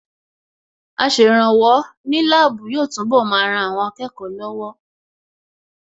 Aṣèrànwọ́ ní láàbù yóò túnbọ̀ máa ran àwọn akẹ́kọ̀ọ́ lọ́wọ́